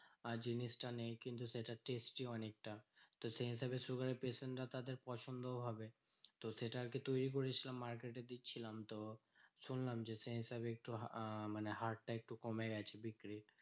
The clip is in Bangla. আর জিনিসটা নেই কিন্তু সেটা testy অনেকটা। তো সেই হিসেবে sugar এর patient রা তাদের পছন্দও হবে। তো সেটা আরকি তৈরী করেছিলাম market এ দিচ্ছিলাম তো শুনলাম যে সেই হিসেবে একটু আহ হারটা একটু কমে গেছে বিক্রির।